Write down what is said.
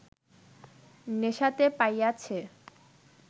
নেশাতে পাইয়াছে